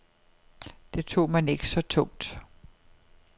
Det tog man ikke så tungt.